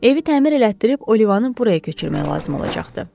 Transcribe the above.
Evi təmir etdirib Olivanın buraya köçürmək lazım olacaqdı.